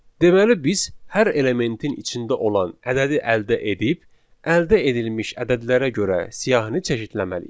Deməli biz hər elementin içində olan ədədi əldə edib əldə edilmiş ədədlərə görə siyahını çeşidləməliyik.